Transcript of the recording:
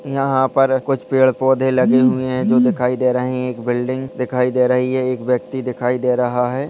यहाँ पर कुछ पेड़-पौधे लगे हुए है जो दिखाई दे रहे है एक बिल्डिंग दिखाई दे रही है एक व्यक्ति दिखाई दे रहा है।